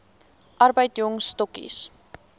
arbeid jong stokkies